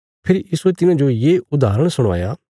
फेरी यीशुये तिन्हाजो ये उदाहरण सणवाया